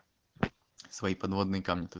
свои подводные камни тут